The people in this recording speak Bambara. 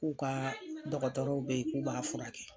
K'u ka dɔgɔtɔrɔw be yen k'u b'a furakɛ.